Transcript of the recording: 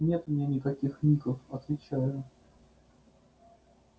нету у меня никаких ников отвечаю